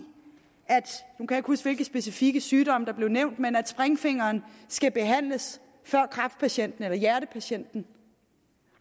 nu kan jeg ikke huske hvilke specifikke sygdomme der blev nævnt springfingeren skal behandles før kræftpatienten eller hjertepatienten